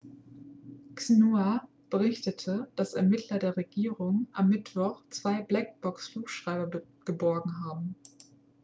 xinhua berichtete dass ermittler der regierung am mittwoch zwei black box -flugschreiber geborgen haben